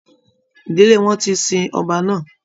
Ìdílé wọn ti sin ọba náà.